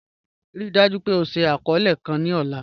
Ríì dájú pé ọ ṣìí akọọlẹ̀ kàn ni ọ̀là